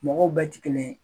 Mɔgɔw bɛ tɛ kelen ye.